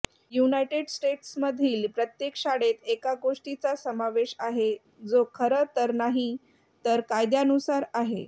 United स्टेट्समधील प्रत्येक शाळेत एका गोष्टीचा समावेश आहे जो खरं तर नाही तर कायद्यानुसार आहे